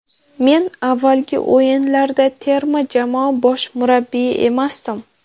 Men avvalgi o‘yinlarda terma jamoa bosh murabbiyi emasdim.